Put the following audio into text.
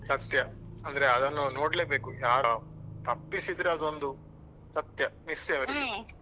ಸತ್ಯ ಅಂದ್ರೆ ಅದನ್ನು ನೋಡ್ಲೆ ಬೇಕು ಯಾರ ತಪ್ಪಿಸಿದ್ರೆ ಅದೊಂದು ಸತ್ಯ miss ಎ .